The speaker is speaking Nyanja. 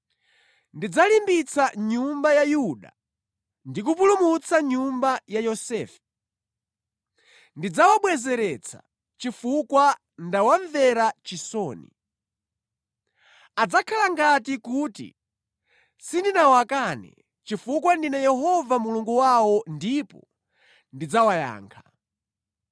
“Ndidzalimbitsa nyumba ya Yuda ndi kupulumutsa nyumba ya Yosefe. Ndidzawabwezeretsa chifukwa ndawamvera chisoni. Adzakhala ngati kuti sindinawakane, chifukwa ndine Yehova Mulungu wawo ndipo ndidzawayankha.